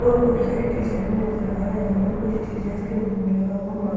और बहुत सारे टीचर भी नजर आ रहे हैं और कुछ टीचर्स के मुंह में लगा हुआ मा --